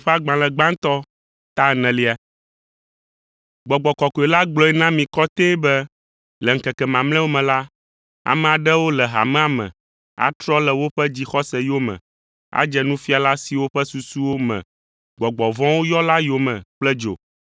Gbɔgbɔ Kɔkɔe la gblɔe na mi kɔtɛe be le ŋkeke mamlɛawo me la, ame aɖewo le hamea me atrɔ le woƒe dzixɔse yome adze nufiala siwo ƒe susuwo me gbɔgbɔ vɔ̃wo yɔ la yome kple dzo.